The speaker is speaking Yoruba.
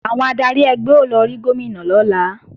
Àwọn adarí ẹgbẹ́ ó lọ rí Gómìnà lọ́la